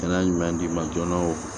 Kɛnɛya ɲuman d'i ma joona o